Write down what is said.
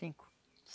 Cinco.